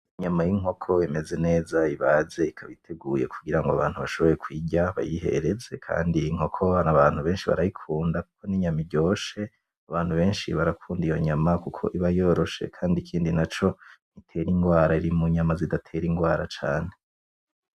Inyama yinkoko imeze neza Ibaze ikabiteguye kugirango abantu bashobore kuyirya bayihereze, kandi inkoko abantu benshi barayikunda ninyama iryoshe abantu benshi barakunda iyo nyama kuko iba yoroshe kandi ikindi naco ntitera inrwara iri munyama zidatera inrwara cane.